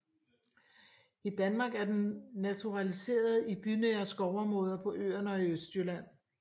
I Danmark er den naturaliseret i bynære skovområder på Øerne og i Østjylland